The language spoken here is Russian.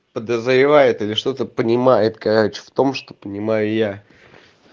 подозревает или что-то понимает короче в том что понимаю я